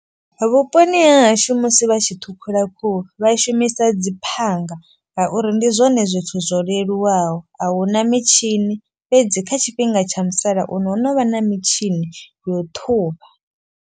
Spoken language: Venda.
Vhuponi ha hashu musi vha tshi ṱhukhula khuhu vha shumisa dzi phanga. Ngauri ndi zwone zwithu zwo leluwaho ahuna mitshini. Fhedzi kha tshifhinga tsha musalauno ho no vha na mitshini yo u ṱhuvha.